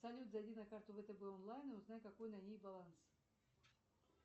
салют зайди на карту втб онлайн и узнай какой на ней баланс